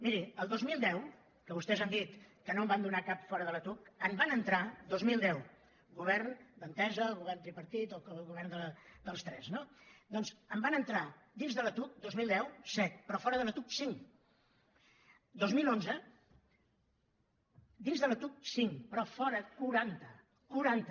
miri el dos mil deu que vostès han dit que no en van donar cap fora de la tuc en van entrar dos mil deu govern d’entesa govern tripartit o govern dels tres no doncs en van entrar dins de la tuc dos mil deu set però fora de la tuc cinc dos mil onze dins de la tuc cinc però fora quaranta quaranta